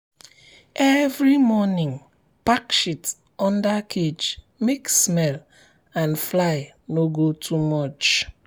every morning pack shit under cage make smell and fly no go too much.